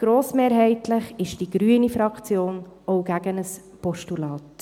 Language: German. Grossmehrheitlich ist die Fraktion Grüne auch gegen ein Postulat.